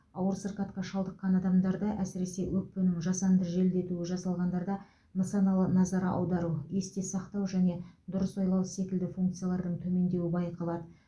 ауыр сырқатқа шалдыққан адамдарда әсіресе өкпенің жасанды желдетуі жасалғандарда нысаналы назар аудару есте сақтау және дұрыс ойлау секілді функциялардың төмендеуі байқалады